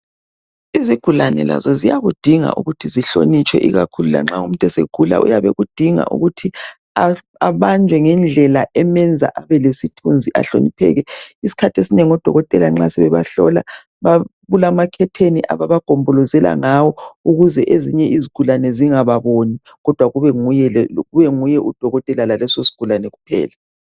Izigulane lazo ziyakudinga ukuthi zihlonitshwe ikakhulu lanxa umuntu esegula uyabe ekudinga ukuthi abanjwe ngendlela emenza abelesithunzi ahlonipheke. Isikhathi esinengi nxa odokotela sebebahlola kulamakhetheni ababagombolozela ngawo ukuze ezinye izigulani zingababoni kodwa kube nguye udokotela laleso sigulane kuphela.